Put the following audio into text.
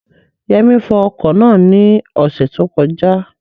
Yẹmí fọ ọkọ̀ náà ní ọ̀sẹ̀ tó kọjá